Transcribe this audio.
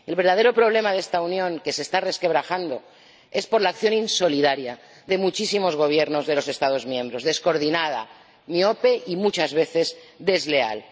El verdadero problema de esta Unión, que se está resquebrajando, es la acción insolidaria de muchísimos Gobiernos de los Estados miembros, descoordinada, miope y muchas veces desleal.